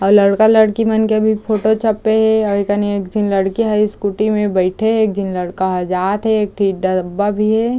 अउ लड़का-लड़की मन के भी फोटो छपे हे अउ ए कनि लड़की झीन स्कूटी में बईठे हे एक झीन लड़का कहाँ जात हे एक ठी डब्बा भी है।